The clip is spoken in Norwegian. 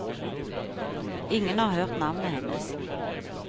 Ingen har hørt navnet hennes.